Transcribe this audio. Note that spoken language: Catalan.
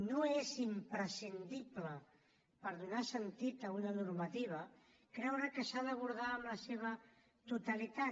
no és imprescindible per donar sentit a una normativa creure que s’ha d’abordar en la seva totalitat